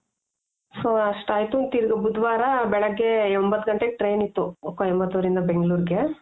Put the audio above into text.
so ಅಷ್ಟ್ ಆಯ್ತು ತಿರ್ಗ ಬುಧವಾರ ಬೆಳಗ್ಗೆ ಒಂಬತ್ ಗಂಟೆಗೆ train ಇತ್ತು ಕೊಯಿಮತ್ತುರ್ ಇಂದ ಬೆಂಗ್ಳೂರಿಗೆ .